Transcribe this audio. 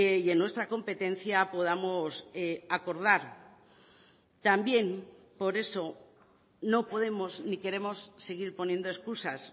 y en nuestra competencia podamos acordar también por eso no podemos ni queremos seguir poniendo excusas